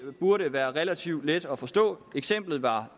burde være relativt let at forstå eksemplet var